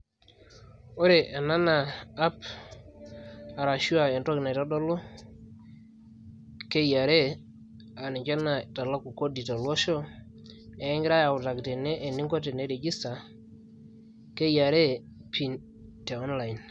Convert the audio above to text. ore ena naa app ashu entoki naitodolu KRA aaniche naitaku kodi tolosho naa ekigirai aitodol eningo tinirijista KRA te online.